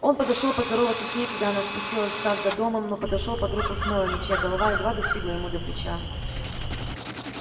он подошёл поздороваться с ней когда она спустилась в сад за домом но подошёл под руку с мелани чья голова едва достигала ему до плеча